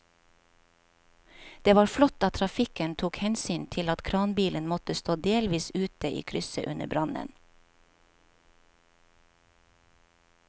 Det var flott at trafikken tok hensyn til at kranbilen måtte stå delvis ute i krysset under brannen.